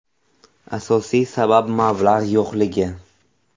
Asosiy sabab – mablag‘ yo‘qligi.